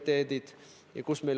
Tänan ka ministreid vastamast!